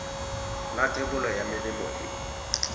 la thebolo ya melemo e